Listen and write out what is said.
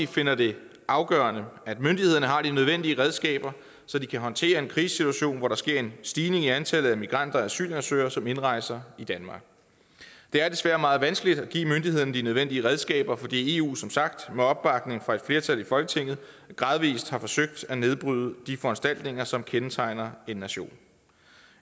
finder det afgørende at myndighederne har de nødvendige redskaber så de kan håndtere en krisesituation hvor der sker en stigning i det antal af migranter og asylansøgere som indrejser i danmark det er desværre meget vanskeligt at give myndighederne de nødvendige redskaber fordi eu som sagt med opbakning fra et flertal i folketinget gradvis har forsøgt at nedbryde de foranstaltninger som kendetegner en nation